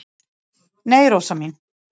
"""Nei, Rósa mín."""